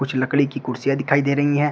कुछ लकड़ी की कुर्सियां दिखाई दे रही हैं।